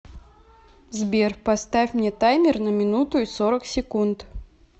сбер поставь мне таймер на минуту и сорок секунд